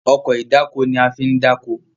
Ọkọ̀ ìdákoní a fín dako.